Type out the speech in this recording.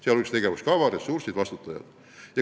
See hõlmaks tegevuskava, ressursse, vastutajaid.